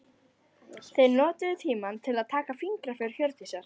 Þeir notuðu tímann til að taka fingraför Hjördísar.